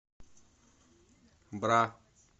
бра